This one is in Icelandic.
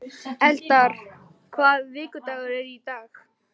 Eldar, hvaða vikudagur er í dag?